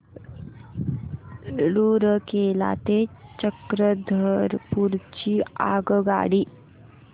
रूरकेला ते चक्रधरपुर ची आगगाडी